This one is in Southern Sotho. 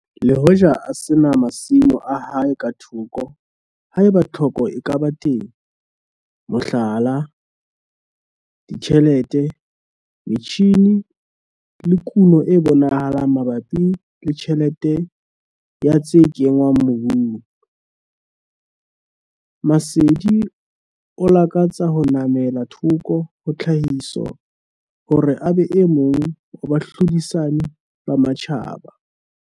Le hoja a se na masimo a hae ka thoko haeba tlhoko e ka ba teng mohlala, ditjhelete, metjhine le kuno e bonahalang mabapi le tjhelete ya tse kenngwang mobung. Masedi o lakatsa ho namela thoko ka tlhahiso hore a be e mong ho bahlodisani ba matjhaba.